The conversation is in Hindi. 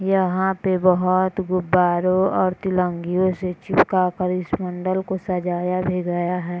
यहां पे बहोत गुब्बारो और तिलंगियों से चिपका कर इस मंडल को सजाया भी गया है।